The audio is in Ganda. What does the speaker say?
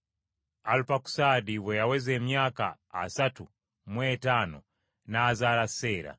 Alupakusaadi bwe yaweza emyaka asatu mu etaano n’azaala Seera,